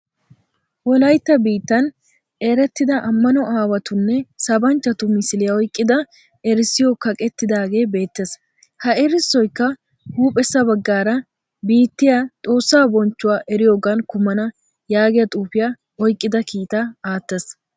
Wolayitta biittan erettida amano aawatunne sabanchchatu misiliya oyqqida erissoy kaqettidaage beettees. Ha erissoykka huuphessa baggaara biittiya Xoossaa bonichchuwa eriyogaan kumana yaagiya xuufiya oyqqida kiita aattees.